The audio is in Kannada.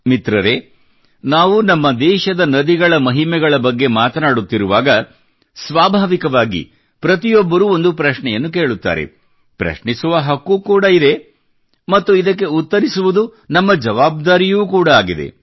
ಮಿತ್ರರೇ ನಾವು ನಮ್ಮ ದೇಶದ ನದಿಗಳ ಮಹಿಮೆಗಳ ಬಗ್ಗೆ ಮಾತನಾಡುತ್ತಿರುವಾಗ ಸ್ವಾಭಾವಿಕವಾಗಿ ಪ್ರತಿಯೊಬ್ಬರೂ ಒಂದು ಪ್ರಶ್ನೆಯನ್ನು ಕೇಳುತ್ತಾರೆ ಪ್ರಶ್ನಿಸುವ ಹಕ್ಕೂ ಕೂಡ ಇದೆ ಮತ್ತು ಇದಕ್ಕೆ ಉತ್ತರಿಸುವುದು ನಮ್ಮ ಜವಾಬ್ದಾರಿಯೂ ಕೂಡ ಆಗಿದೆ